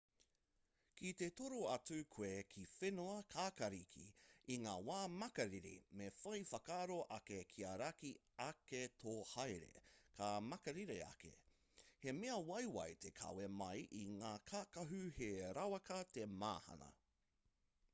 ki te toro atu koe ki whenua kākāriki i ngā wā makariri me whai whakaaro ake kia raki ake tō haere ka makariri ake he mea waiwai te kawe mai i ngā kākahu he rawaka te mahana